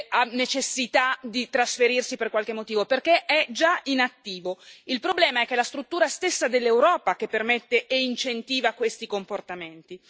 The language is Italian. ha necessità di trasferirsi per qualche motivo, perché è già in attivo, il problema è che è la struttura stessa dell'Europa che permette e incentiva questi comportamenti.